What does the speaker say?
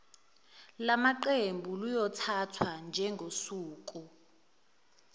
lamaqembu luyothathwa njengosuku